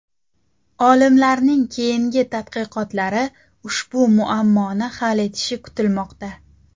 Olimlarning keyingi tadqiqotlari ushbu muammoni hal etishi kutilmoqda.